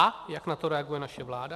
A jak na to reaguje naše vláda?